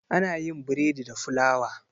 Ana yin bredi da fulawa.